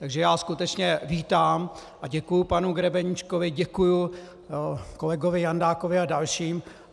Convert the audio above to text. Takže já skutečně vítám a děkuji panu Grebeníčkovi, děkuji kolegovi Jandákovi a dalším.